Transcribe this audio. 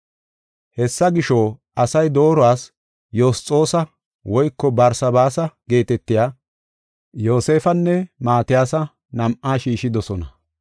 Hessa gisho, asay dooruwas Yosxoosa woyko Barsabaasa geetetiya Yoosefanne Maatiyasa nam7a shiishidosona.